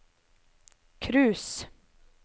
cruise